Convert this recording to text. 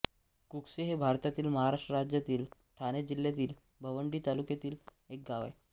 कुकसे हे भारतातील महाराष्ट्र राज्यातील ठाणे जिल्ह्यातील भिवंडी तालुक्यातील एक गाव आहे